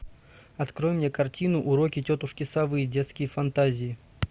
открой мне картину уроки тетушки совы детские фантазии